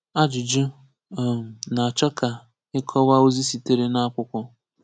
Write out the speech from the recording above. Àjùjù̀ um nà-chọ̀ kà ị̀kọ̀wà̀ ozì siterè n’àkwùkwọ̀.